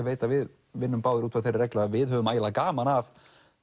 veit að við vinnum báðir út frá þeirri reglu að við höfum ægilega gaman af